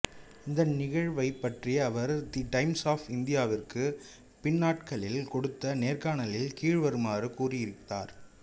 இந்த நிகழ்வைப் பற்றி அவர் தி டைம்ஸ் ஆஃப் இந்தியாவிற்கு பின்னாட்களில் கொடுத்த நேர்காணலில் கீழ்வருமாறு கூறி இருந்தார்